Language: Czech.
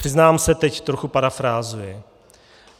- Přiznám se, teď trochu parafrázuji.